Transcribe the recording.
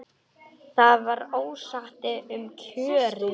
Það var ósætti um kjörin.